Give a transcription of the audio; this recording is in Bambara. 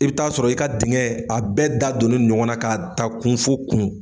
I bɛ taa sɔrɔ i ka dingɛ a bɛɛ da don ne don ɲɔgɔn na ka ta kun fo kun.